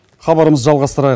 хабарымызды жалғастырайық